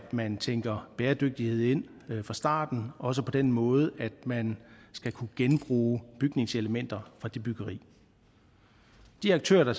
man tænker bæredygtighed ind fra starten også på den måde at man skal kunne genbruge bygningselementer fra det byggeri de aktører der